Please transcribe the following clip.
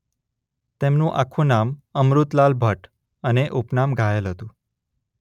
તેમનું આખું નામ અમૃતલાલ ભટ્ટ અને ઉપનામ ઘાયલ હતું.